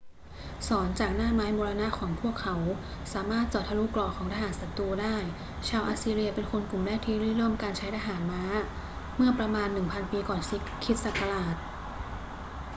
ศรจากหน้าไม้มรณะของพวกเขาสามารถเจาะทะลุเกราะของทหารศัตรูได้ ชาวอัสซีเรียเป็นคนกลุ่มแรกที่ริเริ่มการใช้ทหารม้าเมื่อประมาณ 1000 ปีก่อนคริสต์ศักราช